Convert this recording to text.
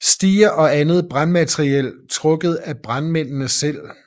Stiger og andet brandmateriel trukket af brandmændene selv